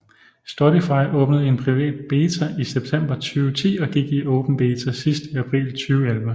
Storify åbnede i en privat beta i september 2010 og gik i åben beta sidst i april 2011